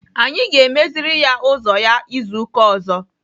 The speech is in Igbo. Anyị ga-emeziri ya ụzọ ya izu ụka ọzọ.